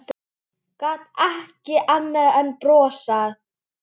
Gat ekki annað en brosað.